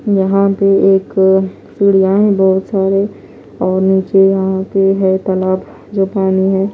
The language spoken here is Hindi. यहां पे एक सीढ़ियां हैं बहोत सारे और नीचे यहां पे है तालाब जो पानी है।